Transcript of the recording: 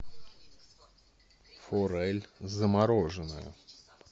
форель замороженная